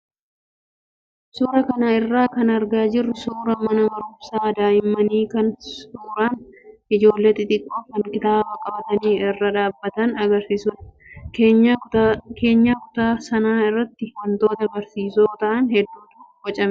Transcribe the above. Suuraa kana irraa kan argaa jirru suuraa mana barumsaa daa'immanii kan suuraan ijoolee xixiqqoo kan kitaaba qabatanii irra dhaabbatan agarsiisudha. Keenyaa kutaa sanaa irratti wantoota barsiisoo ta'an hedduutu bocamee jira.